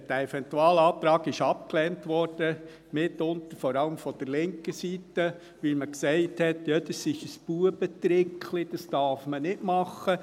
Dieser Eventualantrag wurde abgelehnt, mitunter vor allem von der linken Seite, weil man sagte: «Das ist ein ‹Buebetrickli›, das darf man nicht machen.